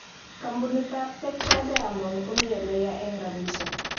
Kampunit tabPetra Diamond komi eleya eng rapishek.